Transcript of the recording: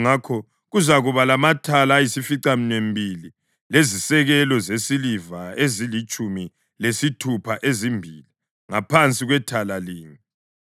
Ngakho kuzakuba lamathala ayisificaminwembili lezisekelo zesiliva ezilitshumi lesithupha, ezimbili ngaphansi kwethala linye.